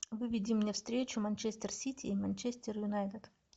выведи мне встречу манчестер сити и манчестер юнайтед